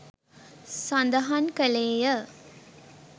සඳහන් කළේය.